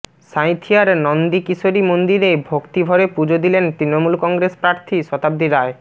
সাঁইথিয়ার নন্দিকেশরী মন্দিরে ভক্তিভরে পুজো দিলেন তৃণমূল কংগ্রেস প্রার্থী শতাব্দী রায়